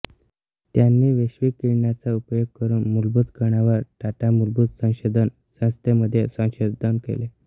त्यांनी वैश्विक किरणांचा उपयोग करून मूलभूत कणांवर टाटा मूलभूत संशोधन संस्थेमध्ये संशोधन केले